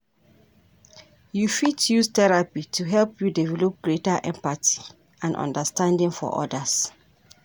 You fit use therapy to help you develop greater empathy and understanding for others.